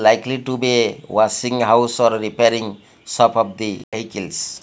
likely to be a washing house or repairing shop of the vehicles.